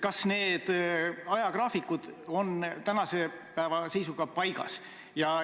Kas need ajagraafikud on tänase päeva seisuga paigas?